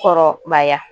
Kɔrɔbaya